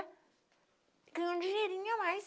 Ganho um dinheirinho a mais.